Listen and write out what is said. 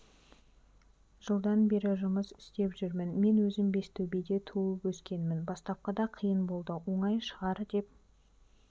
жылдан бері жұмыс істеп жүрмін мен өзім бестөбеде туып өскенмін бастапқыда қиын болды оңай шығар деп